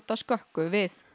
skökku við